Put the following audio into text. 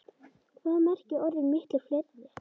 Hvað merkja orðin miklu fleiri?